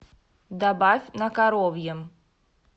добавь на коровьем